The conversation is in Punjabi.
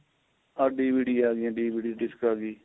ਅਰ DVD ਆਂ ਗਈਆਂ DVD disk ਆਂ ਗਈ